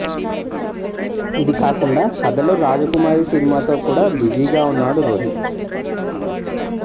ఇది కాకుండా కధలో రాజకుమారి సినిమాతో కూడా బిజీ గా వున్నాడు రోహిత్